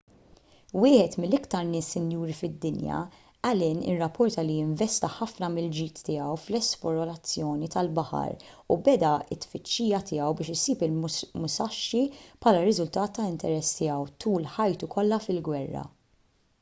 wieħed mill-iktar nies sinjuri fid-dinja allen irrapporta li investa ħafna mill-ġid tiegħu fl-esplorazzjoni tal-baħar u beda t-tfittxija tiegħu biex isib il-musashi bħala riżultat ta' interess tiegħu tul ħajtu kollha fil-gwerra